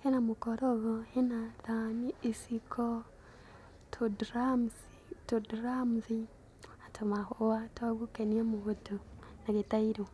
hena mũkorogo, hena thani, iciko, tũndramthi, tũndramthi na tũmahũa twa gũkenia mundu na gĩtairo.